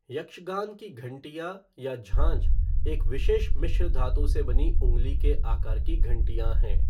यक्षगान की घंटियां या झांझ एक विशेष मिश्र धातु से बनी उंगली के आकार की घंटियां हैं।